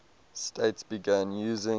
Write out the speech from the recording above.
states began using